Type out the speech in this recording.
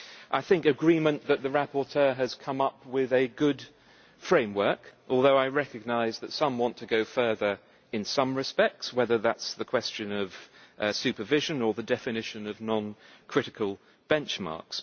and agreement that the rapporteur has come up with a good framework although I recognise that some want to go further in some respects, whether on the question of supervision or on the definition of non critical benchmarks.